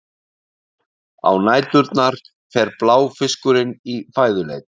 á næturnar fer bláfiskurinn í fæðuleit